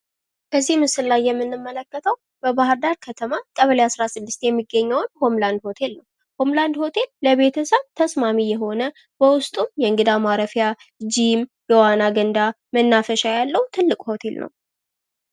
በዚህ ምስል ላይ የምንመለከተው በባህርዳር ከተማ ቀበሌ 16 የሚገኘውን ሆምላንድ ሆቴል ነው። ሆምላንድ ሆቴል ለቤተሰብ ተስማሚ የሆነ በውስጡም የእንግዳ ማረፊያ ጂም የመዋኛ ገንዳ መናፈሻ ያለው ትልቅ ሆቴል ነው።